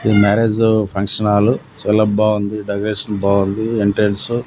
ఇది marriage function hall చాలా బాగుంది డెకరేషన్ బాగుంది ఎంట్రెన్స్ .